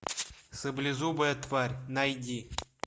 саблезубая тварь найди